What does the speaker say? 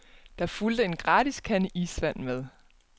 Der fulgte en gratis kande isvand med.